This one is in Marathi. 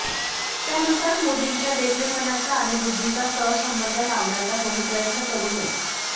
त्यानुसार मोदींच्या देखणेपणाचा आणि बुध्दीचा सहसंबंध लावण्याचा कोणी प्रयत्न करु नये